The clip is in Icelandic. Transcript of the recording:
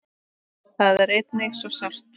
Það er einnig svo sárt.